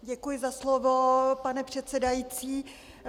Děkuji za slovo, pane předsedající.